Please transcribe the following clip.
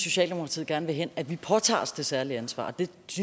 socialdemokratiet gerne vil hen at vi påtager os det særlige ansvar det